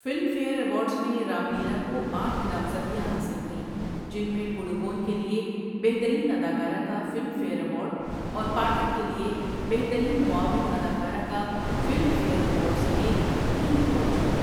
Film fair awards میں رام لیلا کو آٹھ نامزدگیاں حاصل ہوئیں، جن میں پڈوکون کے لیے بہترین اداکارہ کا فلم فیئر ایوارڈ اور پاٹھک کے لیے بہترین معاون اداکارہ کا فلم فیئر ایوارڈ سمیت تین ایوارڈ جیتے۔